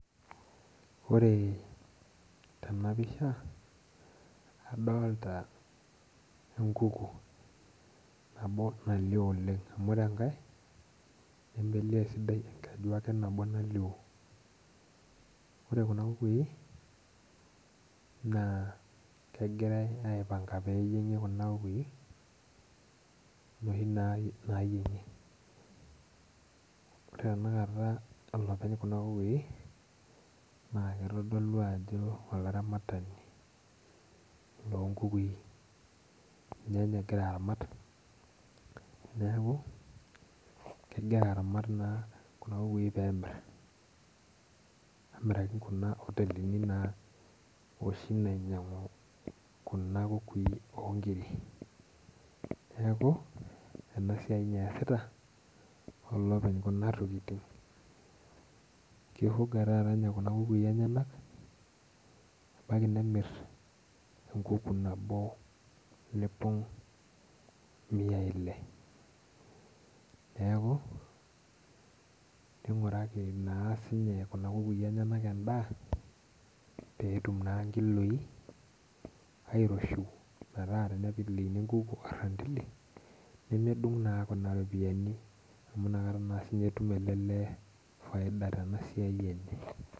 Ore tenapisha, adolta enkuku nabo nalio oleng, amu ore enkae nemelio esidai enkeju ake nabo nalio. Ore kuna kukui, naa kegirai aipanga peyieng'i kuna kukui, noshi nayieng'i. Ore tanakata olopeny kuna kukui, naa kitodolu ajo olaramatani lonkukui. Ninye nye egira aramat, neeku kegira aramat naa kuna kukui pemir. Nimiraki kuna otelini oshi nainyang'u kuna kukui onkiri. Neeku, enasiai inye eesita, olopeny kuna tokiting. Ki fuga taata nye kuna kukui enyanak, ebaiki nemir enkuku nabo lipong' miai ile. Neeku, ning'uraki naa sinye kuna kukui enyanak endaa, petum naa nkiloi airoshiu metaa tenitelekini enkuku orrantili, nemedung' naa kuna ropiyiani amu nakata naa sinye etum ele lee faida tenasiai enye.